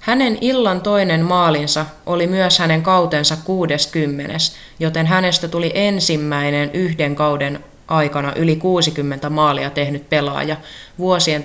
hänen illan toinen maalinsa oli myös hänen kautensa kuudeskymmenes joten hänestä tuli ensimmäinen yhden kauden aikana yli 60 maalia tehnyt pelaaja vuosien 1995-96